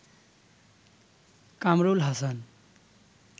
Kamrul Hasan